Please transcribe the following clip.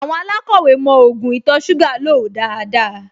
Àwọn alákọ̀wẹ́ mọ ògùn ìtọ̀-ṣúgà lò dáadáa